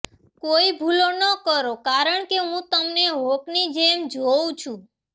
કોઈ ભૂલો ન કરો કારણ કે હું તમને હોકની જેમ જોઉં છું